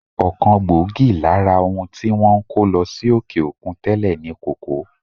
Ọ̀kan gbòógì lára ohun tí wọ́n ń kó lọ sí òkè-òkun tẹ́lè ni kòkó.